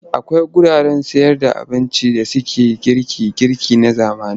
Akwai wuraren cin abinci na zamani da suke sayarda girke-girke na zamani.